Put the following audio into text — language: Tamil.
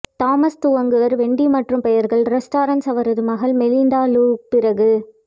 தாமஸ் துவங்குவார் வெண்டி மற்றும் பெயர்கள் ரெஸ்டாரன்ஸ் அவரது மகள் மெலிண்டா லூ பிறகு